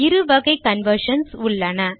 இருவகை கன்வர்ஷன்ஸ் உள்ளன